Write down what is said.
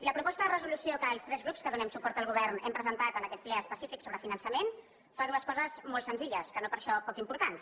la proposta de resolució que els tres grups que donem suport al govern hem presentat en aquest ple específic sobre finançament fa dues coses molt senzilles que no per això poc importants